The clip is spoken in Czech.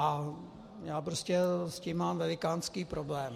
A já prostě s tím mám velikánský problém.